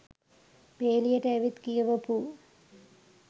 පේලියට ඇවිත් කියවපු